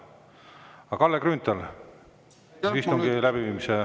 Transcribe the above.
Aga, Kalle Grünthal, küsimus istungi läbiviimise kohta.